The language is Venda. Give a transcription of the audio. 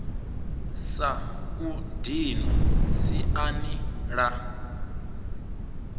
sa u dinwa siani la